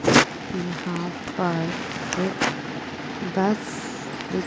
यहां पर एक बस दिख--